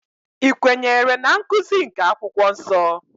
I kwenyere na nkụzi nke akwụkwọ nsọ?